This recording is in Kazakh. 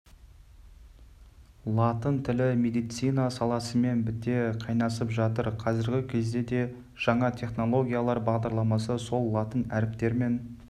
латын тілі медицина саласымен біте қайнасып жатыр қазіргі кезде де жаңа технологиялар бағдарламасы сол латын әріптерімен